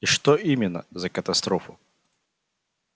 и что именно за катастрофу